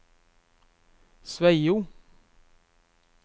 Sveio